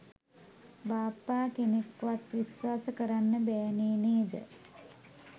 බාප්පා කෙනෙක්වත් විශ්වාස කරන්න බෑනේ නේද?